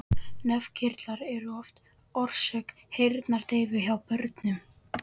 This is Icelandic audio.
Nefkirtlar eru oft orsök heyrnardeyfu hjá börnum.